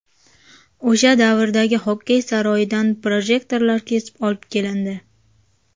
O‘sha davrdagi xokkey saroyidan projektorlar kesib olib kelindi.